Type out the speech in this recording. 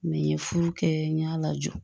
Mɛ n ye furu kɛ n y'a lajɔ